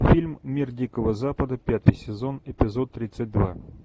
фильм мир дикого запада пятый сезон эпизод тридцать два